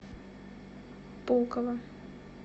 пулково